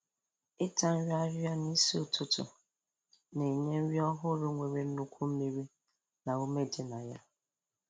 Ịta nri Ịta nri ahịhịa n'isi ụtụtụ na-enye nri ọhụrụ nwere nnukwu mmiri na ume dị na ya